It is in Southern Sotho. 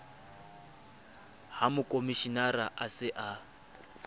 ha mokomshenara a se a